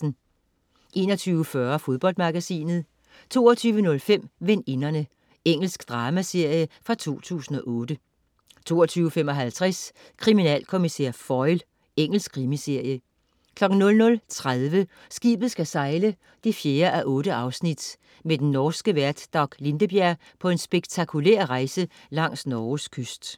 21.40 Fodboldmagasinet 22.05 Veninderne. Engelsk dramaserie fra 2008 22.55 Kriminalkommissær Foyle. Engelsk krimiserie 00.30 Skibet skal sejle 4:8. Med den norske vært Dag Lindebjerg på en spektakulær rejse langs Norges kyst